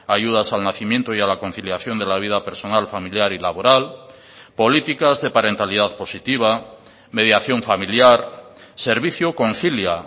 ayudas al nacimiento y a la conciliación de la vida personal familiar y laboral políticas de parentalidad positiva mediación familiar servicio concilia